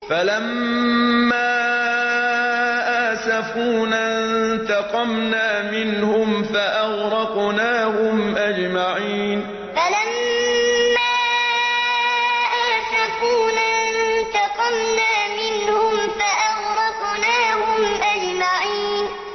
فَلَمَّا آسَفُونَا انتَقَمْنَا مِنْهُمْ فَأَغْرَقْنَاهُمْ أَجْمَعِينَ فَلَمَّا آسَفُونَا انتَقَمْنَا مِنْهُمْ فَأَغْرَقْنَاهُمْ أَجْمَعِينَ